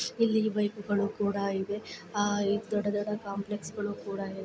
ಇಲ್ಲಿ ಬೈಕ್ ಗಳು ಕೂಡ ಇವೆ ಅಹ್ ದೊಡ್ಡ ದೊಡ್ಡ ಕಂಪ್ಲೇಸ್ಗುಳು ಕೂಡ ಇವೆ.